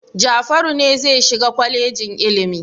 Jafaru ne zai shiga kwalejin ilimi.